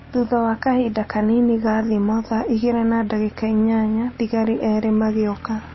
Thutha wa kahinda kanini ga thimo thaa igĩrĩ na ndagĩka inyanya, thigari erĩ magĩũka